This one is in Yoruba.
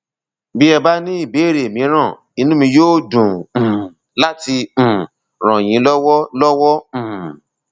bí ẹ bá ní ìbéèrè mìíràn inú mi yóò dùn um láti um ràn yín lọwọ lọwọ um